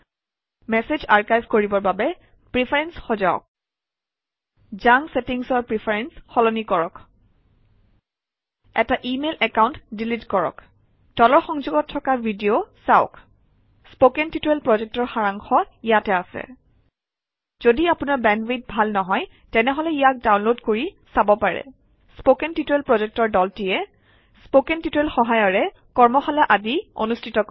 message archive কৰিবৰ বাবে preference সজাওক জাংক চেটিংচৰ প্ৰিফাৰেন্স সলনি কৰক এটা ইমেইল একাউণ্ট ডিলিট কৰক তলৰ সংযোগত থকা ভিডিঅ চাওক কথন শিক্ষণ প্ৰকল্পৰ সাৰাংশ ইয়াত আছে যদি আপোনাৰ বেণ্ডৱিডথ ভাল নহয় তেনেহলে ইয়াক ডাউনলোড কৰি চাব পাৰে কথন শিক্ষণ প্ৰকল্পৰ দলটিয়ে কথন শিক্ষণ সহায়িকাৰে কৰ্মশালা আদি অনুষ্ঠিত কৰে